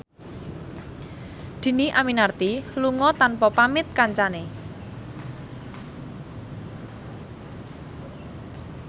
Dhini Aminarti lunga tanpa pamit kancane